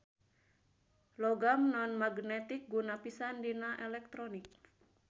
Logam non-magnetik guna pisan dina elektronik.